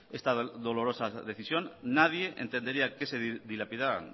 esta dolorosa decisión nadie entendería que se dilapidaran